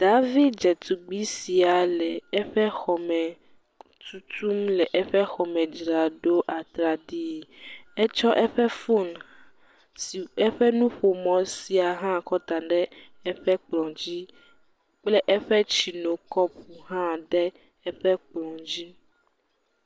Daavi dzetugbe sia le eƒe tutum le eƒe xɔme dzra ɖo atraɖii. Etsɔ eƒe fonu si eƒe nuƒomɔ̃ sia hã kɔ da ɖe eƒe kplɔ̃dzi kple eƒe tsinokɔpo hã kɔ da ɖe eƒe kplɔ̃dzi.